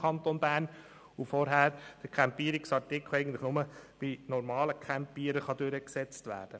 Vorher kann der Campierungsartikel eigentlich nur bei normalem Campieren durchgesetzt werden.